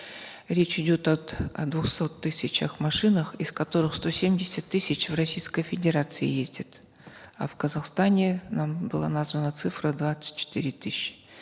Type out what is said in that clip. речь идет о двухсот тысячах машинах из которых сто семьдесят тысяч в российской федерации ездят а в казахстане нам была названа цифра двадцать четыре тысячи